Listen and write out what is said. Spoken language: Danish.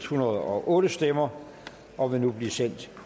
hundrede og otte stemmer og vil nu blive sendt